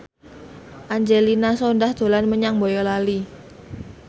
Angelina Sondakh dolan menyang Boyolali